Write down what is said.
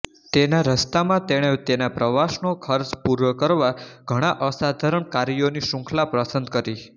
તેના રસ્તામાં તેણે તેના પ્રવાસનો ખર્ચ પૂરો કરવા ઘણા અસાધારણ કાર્યોની શૃંખલા પસંદ કરી